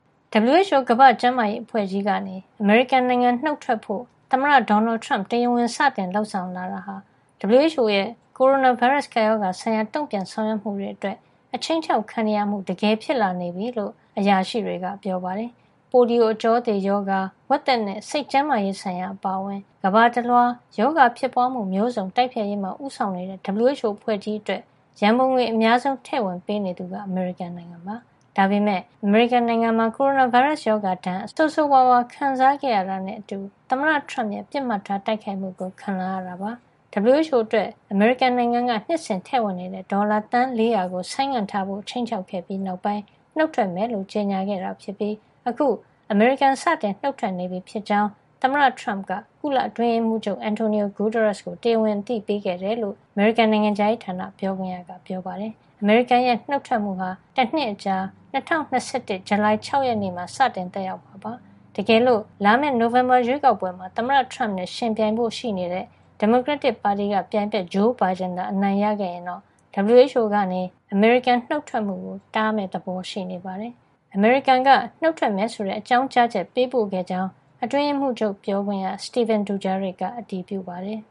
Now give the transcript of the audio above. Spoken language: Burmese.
WHO ကမ္ဘာ့ကျန်းမာရေးအဖွဲ့ကြီးကနေ အမေရိကန်နိုင်ငံ နုတ်ထွက်ဖို့ သမ္မတဒေါ်နယ်ထရမ့် တရားဝင် စတင်လုပ်ဆောင်လာတာဟာ WHO ရဲ့ ကိုရိုနာဗိုင်းရပ်စ်ကပ်ရောဂါဆိုင်ရာ တုံ့ပြန်ဆောင်ရွက်မှုတွေ အတွက် ခြိမ်းခြောက်ခံနေရမှု တကယ်ဖြစ်လာနေပြီလို့ အရာရှိတွေက ပြောပါတယ်။ ပိုလီယို အကြောသေရောဂါ၊ ဝက်သက်နဲ့ စိတ်ကျန်းမာရေးဆိုင်ရာအပါအဝင် ကမ္ဘာတလွှား ရောဂါဖြစ်ပွါးမှု မျိုးစုံတိုက်ဖျက်ရေးမှာ ဦးဆောင်နေတဲ့ WHO အဖွဲ့ကြီးအတွက် ရန်ပုံငွေ အများဆုံး ထည့်ဝင်ပေးနေသူဟာ အမေရိကန်နိုင်ငံဖြစ်ပါတယ်။ ဒါပေမယ့် အမေရိကန်နိုင်ငံမှာ ကိုရိုနာဗိုင်းရပ်စ် ရောဂါဒဏ်ကို ဆိုးဆိုးဝါးဝါး ခံစားခဲ့ရတာနဲ့ အတူ WHO ဟာ သမ္မတထရမ့်ရဲ့ ပစ်မှတ်ထား တိုက်ခိုက်မှုကို ခံလာရတာပါ။ WHO အတွက် အမေရိကန်နိုင်ငံက နှစ်စဉ်ထည့်နေတဲ့ ဒေါ်လာ သန်း ၄၀၀ ကို ဆိုင်းငံ့ထားဖို့ ခြိမ်းခြောက်ခဲ့ပြီး နောက်ပိုင်း နုတ်ထွက်မယ်လို့ ကြေညာခဲ့တာ ဖြစ်ပြီး အခု အမေရိကန် စတင်နုတ်ထွက်နေပြီဖြစ်ကြောင်း သမ္မတထရမ့်က ကုလသမဂ္ဂ အတွင်းရေးမှူးချုပ် Antonio Guterres ကို တရားဝင်အသိပေးခဲ့တယ်လို့ အမေရိကန် နိုင်ငံခြားရေးဌာန ပြောခွင့်ရက ပြောပါတယ်။ အမေရိကန်ရဲ့ နုတ်ထွက်မှုဟာ တနှစ်အကြာ ၂၀၂၁ ခု ဇူလိုင်လ ၆ ရက် နေ့မှာ စတင်သက်ရောက်မှာ ဖြစ်ပါတယ်။ တကယ်လို့ လာမယ့် နိုဝင်ဘာရွေးကောက်ပွဲမှာ သမ္မတ ထရမ့်နဲ့ ယှဉ်ပြိုင်ဖို့ ရှိနေတဲ့ ဒီမိုကရက်တစ်ပါတီက ပြိုင်ဘက် ဂျိုးဘိုင်ဒင်သာ အနိုင်ရခဲ့ရင်တော့ WHO ကနေ အမေရိကန် နုတ်ထွက်မှုကို တားမယ့်ပုံရှိနေပါတယ်။ အမေရိကန်က နှုတ်ထွက်မယ်ဆိုတဲ့ အကြောင်းကြားချက် ပေးပို့ခဲ့ကြောင်း အတွင်းရေးမှူးချုပ် ပြောခွင့်ရ Stephane Dujarric က အတည်ပြုပါတယ်